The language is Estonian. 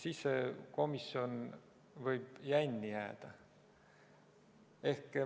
Siis see komisjon võib jänni jääda.